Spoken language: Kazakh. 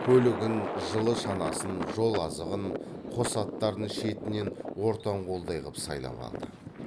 көлігін жылы шанасын жол азығын қос аттарын шетінен ортан қолдай қып сайлап алды